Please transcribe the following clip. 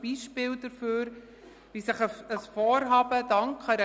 Damit kommen wir zur Abstimmung zum Traktandum 33: